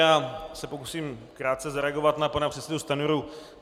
Já se pokusím krátce zareagovat na pana předsedu Stanjuru.